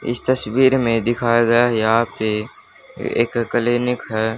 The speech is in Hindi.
इस तस्वीर में दिखाया गया है यहां पे एक क्लीनिक है।